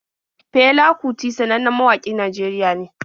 Fela kuti sannannen mawaƙin Najeriya ne.